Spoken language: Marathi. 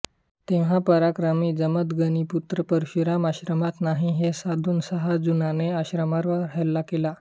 तेव्हा पराक्रमी जमदग्नीपुत्र परशुराम आश्रमात नाही हे साधून सहस्रार्जुनाने आश्रमावर हल्ला केला